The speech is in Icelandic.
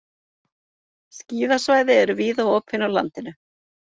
Skíðasvæði eru víða opin á landinu